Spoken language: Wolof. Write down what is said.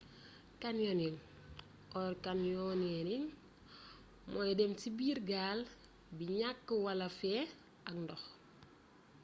canyoning or: canyoneering mooy dém ci biir gaal bi gnakk wala féés ak ndox